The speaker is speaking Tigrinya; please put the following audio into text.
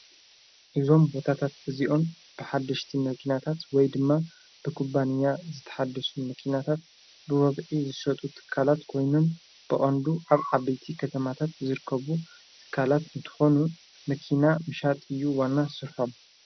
እዞም ቦታታት እዚዮን ብሓድሽቲ መጊናታት ወይ ድማ ብክባንያ ዝተሓደሱ መኪናታት ብወብዒ ዝሰጡ ትካላት ኮይኑን ብኣንዱ ኣብ ዓበይቲ ኸተማታት ዝርከቡ ትካላት እንተሆኑ ምኪና ምሻጥ እዩ ወና ሥርሖም።